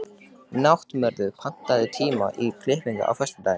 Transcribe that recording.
Náttmörður, pantaðu tíma í klippingu á föstudaginn.